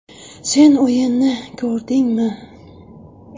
Sen o‘yinni ko‘rdingmi?